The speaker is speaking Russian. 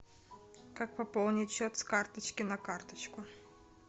как пополнить счет с карточки на карточку